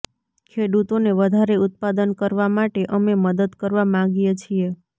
ખેડૂતોને વધારે ઉત્પાદન કરવા માટે અમે મદદ કરવા માગીએ છીએ